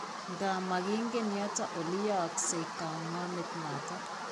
Nkaa, making'een yooto ole yaakse kang'ameet noton.